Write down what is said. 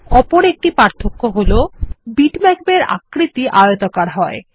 অপর একটি পার্থ্যক্য হল বিটম্যাপ এর আকৃতি আয়তাকার হয়